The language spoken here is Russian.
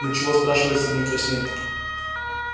ну чего спрашивается мне краснеть